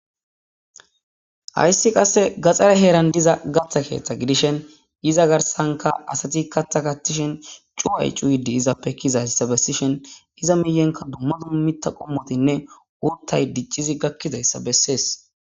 hayssi qasse gaxxare heeran diza gatha keeththa gidishen iza garsanka asati katha katishen cuu ay cu yiddi izappe kizazssa bessishen iza miyenka dumma dummita qommotinne urtay diccizi gakkidayssa bessees